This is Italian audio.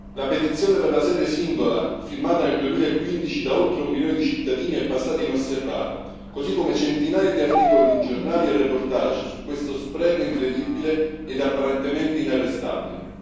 La petizione per la sede unica, firmata nel 2015 da oltre un milione di cittadini, è passata inosservata, così come centinaia di articoli di giornale e reportage su questo spreco incredibile ed apparentemente inarrestabile.